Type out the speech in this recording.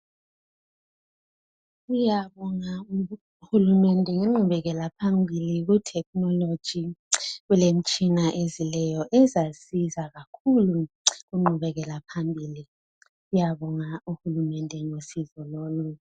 Siyabonga kuhulumende, ngengqubekela phambili, kutechnology. Kulemitshina ezileyo, ezasiza kakhulu kungqubekelaphambili. Siyabonga kuhulumende ngosizo lolu.